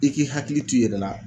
I k'i hakili t'i yɛrɛ la